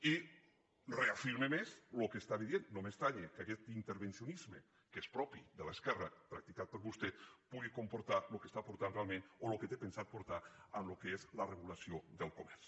i reafirma més el que estava dient no m’estranya que aquest intervencionisme que és propi de l’esquerra practicat per vostè pugui comportar el que està portant realment o el que té pensat portar al que és la regulació del comerç